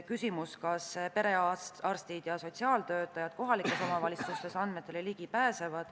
Küsiti, kas perearstid ja kohalike omavalitsuste sotsiaaltöötajad pääsevad andmetele ligi.